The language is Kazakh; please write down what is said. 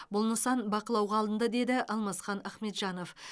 бұл нысан бақылауға алынды деді алмасхан ахмеджанов